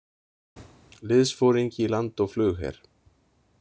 Liðsforingi í land- og flugher.